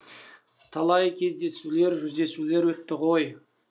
талай кездесулер жүздесулер өтті ғой